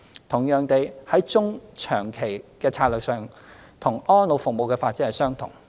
同樣地，在中、長期策略上，與安老服務發展相同。